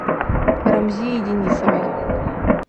рамзии денисовой